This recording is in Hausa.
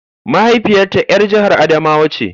Mahaifiyata ‘yar jihar Adamawa ce.